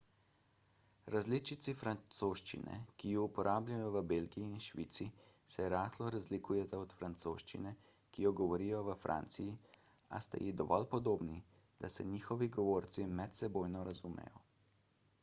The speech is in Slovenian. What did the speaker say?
različici francoščine ki ju uporabljajo v belgiji in švici se rahlo razlikujeta od francoščine ki jo govorijo v franciji a sta ji dovolj podobni da se njihovi govorci medsebojno razumejo